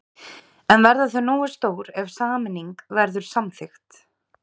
En verða þau nógu stór ef sameining verður samþykkt?